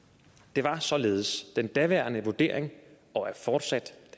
det var således den daværende vurdering og er fortsat